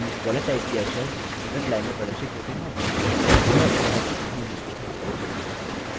इसके बजाय कीबोर्ड में गलत टाइप किए गए अक्षर पर एक x चिन्ह कुछ समय दिखाई देता है